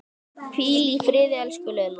Hvíl í friði, elsku Lilla.